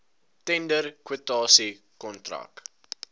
tender kwotasie kontrak